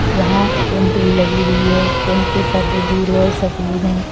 यहां टेंट भी लगी हुई है टेंट के पर्दे भूरे और सफेद है।